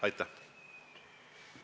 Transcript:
Aitäh!